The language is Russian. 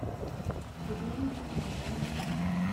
светланы пахомовой